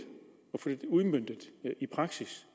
få det udmøntet i praksis